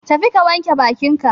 Tafi ka wanke bakin ka.